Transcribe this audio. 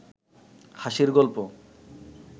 হাসির গলপ